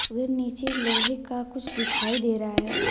व नीचे लोहे का कुछ दिखाई दे रहा है।